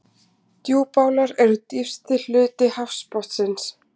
Djúpálar eru dýpsti hluti hafsbotnsins.